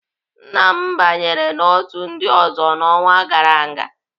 Nna m banyere n'otu ndị ọzọ n'ọnwa gara aga.